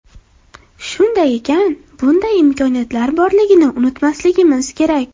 Shunday ekan, bunday imkoniyatlar borligini unutmasligimiz kerak”.